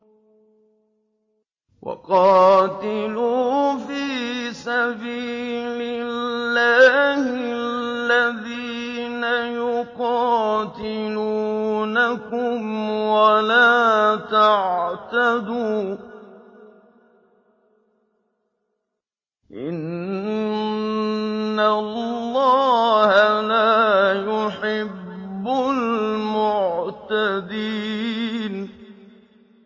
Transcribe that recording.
وَقَاتِلُوا فِي سَبِيلِ اللَّهِ الَّذِينَ يُقَاتِلُونَكُمْ وَلَا تَعْتَدُوا ۚ إِنَّ اللَّهَ لَا يُحِبُّ الْمُعْتَدِينَ